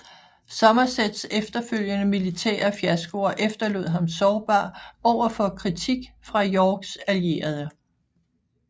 Somersets efterfølgende militære fiaskoer efterlod ham sårbar over for kritik fra Yorks allierede